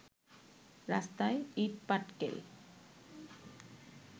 রাস্তায় ইটপাটকেল